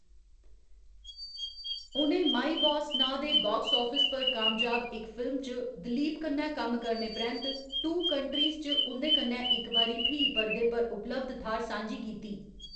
उ'नें my boss नांऽ दे बाक्स आफिस पर कामयाब इक फिल्म च दिलीप कन्नै कम्म करने परैंत्त टू कंट्रीज च उं'दे कन्नै इक बारी फ्ही परदे पर उपलब्ध थाह्‌‌‌र सांझी कीती।